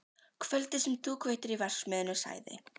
Kvöldið sem þú kveiktir í verksmiðjunni sagði